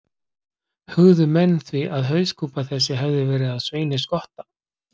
Hugðu menn því að hauskúpa þessi hefði verið af Sveini skotta.